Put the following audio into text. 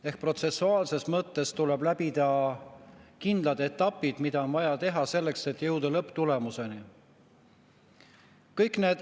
Ehk protsessuaalses mõttes tuleb läbida kindlad etapid, mida on vaja teha selleks, et jõuda lõpptulemuseni.